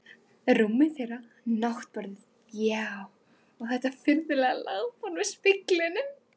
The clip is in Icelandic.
Rúmið þeirra, náttborðin, já, og þetta furðulega lágborð með speglunum.